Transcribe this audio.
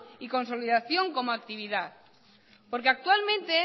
y consolidación como actividad porque actualmente